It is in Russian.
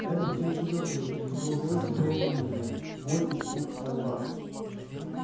эрби всё ещё говорил и в его голосе было волнение боль испуг мольба